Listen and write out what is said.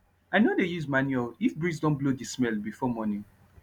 i no dey use manure if breeze don blow the smell before morning